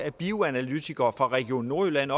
bioanalytikere fra region nordjylland